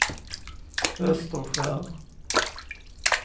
Österskär